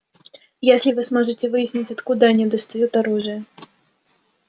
если вы сможете выяснить откуда они достают оружие